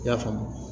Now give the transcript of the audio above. I y'a faamu